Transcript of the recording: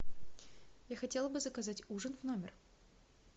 я хотела бы заказать ужин в номер